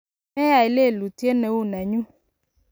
meyai lelutiet ne u nenyu"